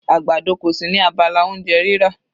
Àgbàdo kò sí ní abala oúnjẹ rírà.